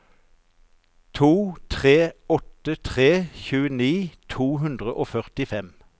to tre åtte tre tjueni to hundre og førtifem